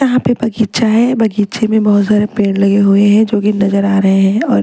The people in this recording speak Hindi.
यहां पे बगीचा है बगीचे में बहुत सारे पेड़ लगे हुए हैं जो कि नजर आ रहे हैं और--